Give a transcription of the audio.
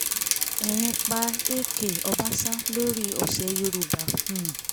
ẹ̀rín pa èèkè ọbaṣà lórí ọ̀sẹ̀ yorùbá um